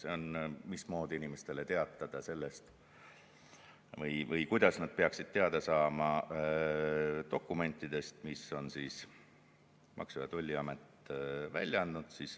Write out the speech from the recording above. Selle sisu on, mismoodi inimestele teatada sellest või kuidas nad peaksid teada saama dokumentidest, mis on Maksu- ja Tolliamet välja andnud.